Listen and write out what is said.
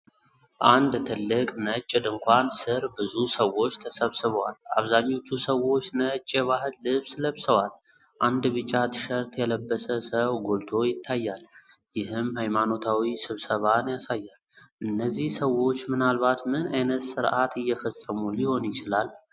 አንድ ትልቅ ነጭ ድንኳን ስር ብዙ ሰዎች ተሰብስበዋል፤ አብዛኞቹ ሰዎች ነጭ የባህል ልብስ ለብሰዋል፤ አንድ ቢጫ ትሸርት የለበሰ ሰው ጎልቶ ይታያል፤ ይህም ሃይማኖታዊ ስብሰባን ያሳያል፤ እነዚህ ሰዎች ምናልባት ምን ዓይነት ሥርዓት እየፈጸሙ ሊሆን ይችላል?